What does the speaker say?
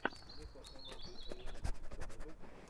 ника эмэлби эйэмви у тебя найдется